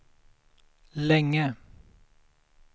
länge